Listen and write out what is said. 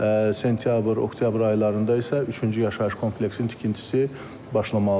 Sentyabr, oktyabr aylarında isə üçüncü yaşayış kompleksinin tikintisi başlamalıdır.